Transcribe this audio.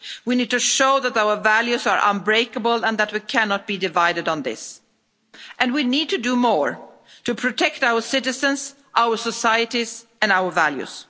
We need to show that our values are unbreakable and that we cannot be divided on this, and we need to do more to protect our citizens, our societies and our values.